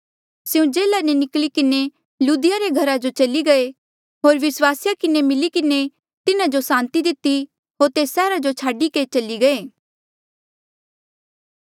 स्यों जेल्हा ले निकली किन्हें लुदिया रे घरा जो चली गये होर विस्वासिया किन्हें मिली किन्हें तिन्हा जो सांति दिती होर तेस सैहरा जो छाडी के चली गये